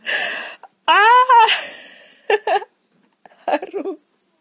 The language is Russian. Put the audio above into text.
ха-ха ору